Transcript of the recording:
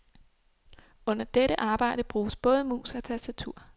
Under dette arbejde bruges både mus og tastatur.